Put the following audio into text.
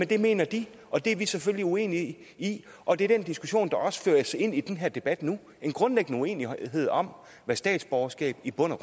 det mener de og det er vi selvfølgelig uenige i og det er den diskussion der også føres ind i den her debat nu en grundlæggende uenighed om hvad statsborgerskab i bund